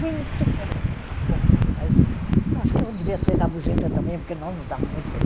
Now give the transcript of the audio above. que era uma loucura, mas eu acho que eu devia ser rabugenta também, porque nós nos dávamos muito bem.